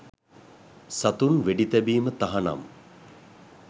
සතුන් වෙඩිතැබීම තහනම්